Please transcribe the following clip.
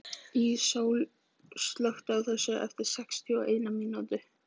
Íssól, slökktu á þessu eftir sextíu og eina mínútur.